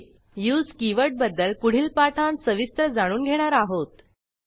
टीप उसे कीवर्ड बद्दल पुढील पाठांत सविस्तर जाणून घेणार आहोत